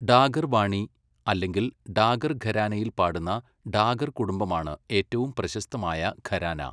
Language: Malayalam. ഡാഗർ വാണി അല്ലെങ്കിൽ ഡാഗർ ഘരാനയിൽ പാടുന്ന ഡാഗർ കുടുംബമാണ് ഏറ്റവും പ്രശസ്തമായ ഘരാന.